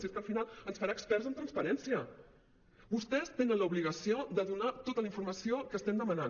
si és que al final ens farà experts en transparència vostès tenen l’obligació de donar tota la informació que estem demanant